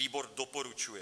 Výbor doporučuje.